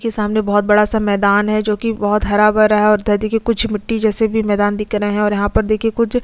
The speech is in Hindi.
के सामने बहोत बड़ा-सा मैदान है जो की बहोत हरा-भरा है और उधर देखिए मिट्टी जैसे भी मैदान दिख रहे है और यहाँ पर देखिए कुछ--